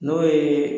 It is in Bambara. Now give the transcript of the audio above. N'o ye